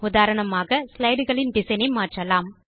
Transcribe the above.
உதாரணமாக slideகளின் டிசைன் ஐ மாற்றலாம்